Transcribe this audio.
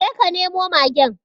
Je ka nemo magen